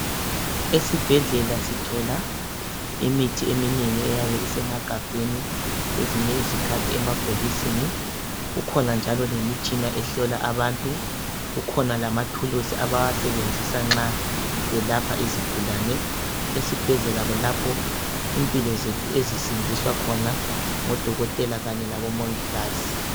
eSibhedlela sithola imithi eminengi eyabe isemagabheni kwezinye izikhathi emabhokisini kukhona njalo lemitshina ehlola abantu , kukhona lamathuluzi abawasebenzisa nxa belapha izigulane , eSibhedlela kulapho impilo zethu ezisindiswa khona ngoDokotela kanye labo Mongikazi .